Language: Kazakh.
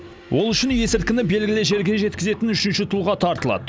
ол үшін есірткіні белгілі жерге жеткізетін үшінші тұлға тартылады